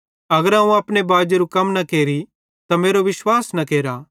अगर अवं अपने बाजेरू कम न केरि त मेरो विश्वास न केरा